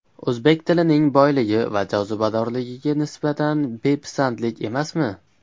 O‘zbek tilining boyligi va jozibadorligiga nisbatan bepisandlik emasmi?..